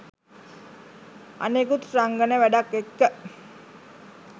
අනෙකුත් රංගන වැඩත් එක්ක